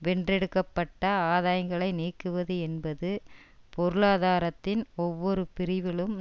வென்றெடுக்கப்பட்ட ஆதாயங்களை நீக்குவது என்பது பொருளாதாரத்தின் ஒவ்வொரு பிரிவிலும்